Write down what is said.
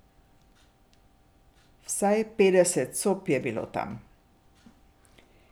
Vsaj petdeset sob je bilo tam.